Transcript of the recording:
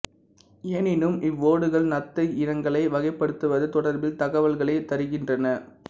எனினும் இவ்வோடுகள் நத்தை இனங்களை வகைப்படுத்துவது தொடர்பில் தகவல்களைத் தருகின்றன